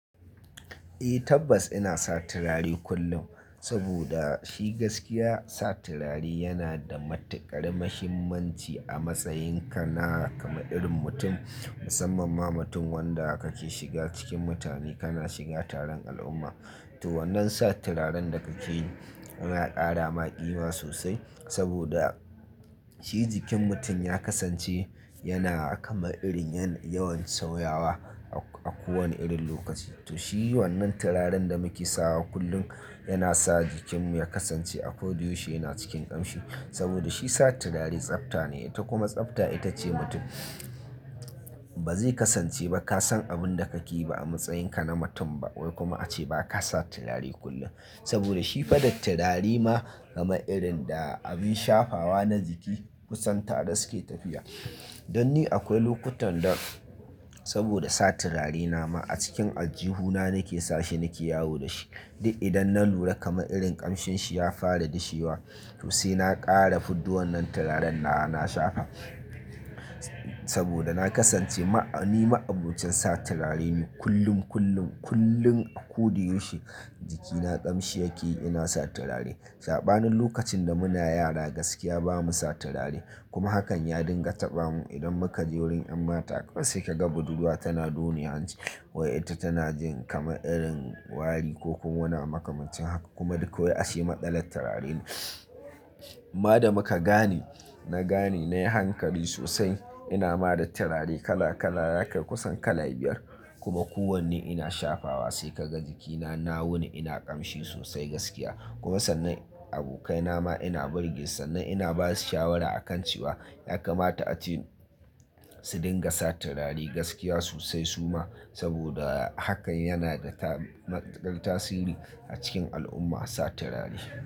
Eh tabbas ina sa turare kullum, saboda shi gaskiya sa turare yana da matukar muhimmanci a matsayin ka na kama irin mutum, musamman ma mutum wanda kake shiga cikin mutane, kana shiga taron al'umma. To wannan sa turaren da kake yi ya kara maƙima sosai, saboda shi jikin mutum ya kasance yana kama irin yawan sauyawa a kowane irin lokaci. To shi wannan turaren da muke sawa kullum yana sa jikinmu ya kasance akodi yoshi yana cikin ƙamshi. Saboda shi sa turare tsafta ne, ita kuma tsafta ita ce mutum ba zai kasance ba ka san abin da kake yi ba a matsayin ka na mutum ba, wai kuma ace ba ka sa turare kullum. Saboda shi fa da turare ma kama irin da abin shafawa na jiki kusan tare suke tafiya. Don ni akwai lokutan da saboda sa turare na ma a cikin aljihuna nake sashe nake yawo da shi. Di idan na lura kama irin ƙamshin shi ya fara dishewa, to sai na ƙara fidduwan nan turaren nawa, na shafa. Saboda na kasance ma-- ni ma'abocin sa turare ne kullum, kullum, kullum akoda yaushe jikina ƙamshi yake ina sa turare. Saɓanin lokacin da muna yara gaskiya bamu sa turare, kuma hakan ya dinga taɓa mu. Idan muka je wurin ƴan mata kaiwai sai ka ga budurwa tana done hanci, wai ita tana jin kama irin wari ko kuma wani abu maka macin haka. Kuma duk wai ashe matsalar turare ne. Ma da muka gane, na gane nayi hankali sosai ina ma da turare kala kala hake kusan kala biyar, kuma kowanne ina shafawa. Sai ka ga jikina na wuni ina ƙamshi sosai gaskiya. Kuma sannan abokaina ma ina burge, sannan ina ba su shawara a kan cewa ya kamata ace su dinga sa turare gaskiya sosai suma. Saboda hakan yana da tab-matukar tasiri a cikin al'umma, sa turare.